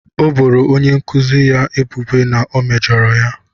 O boro onye nkuzi ya ebubo na o mejọrọ ya.